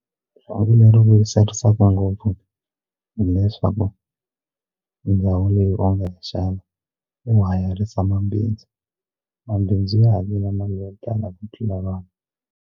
Leswaku lero vuyerisaka ngopfu hileswaku ndhawu leyi onge xana u hayarisa mabindzu mabindzu ya ha tlanga ku tlula vanhu.